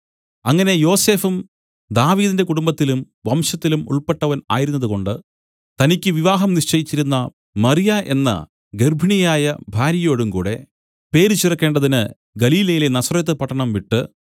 അങ്ങനെ യോസഫും ദാവീദിന്റെ കുടുംബത്തിലും വംശത്തിലും ഉൾപ്പെട്ടവൻ ആയിരുന്നതുകൊണ്ട് തനിക്കു വിവാഹം നിശ്ചയിച്ചിരുന്ന മറിയ എന്ന ഗർഭിണിയായ ഭാര്യയോടും കൂടെ പേരു ചേർക്കേണ്ടതിന് ഗലീലയിലെ നസറെത്ത് പട്ടണം വിട്ടു